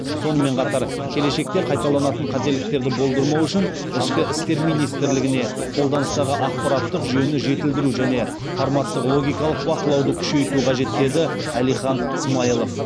сонымен қатар келешекте қайталанатын қателіктерді болдырмау үшін ішкі істер министрлігіне қолданыстағы ақпараттық жүйені жетілдіру және форматтық логикалық бақылауды күшейту қажет деді әлихан смайылов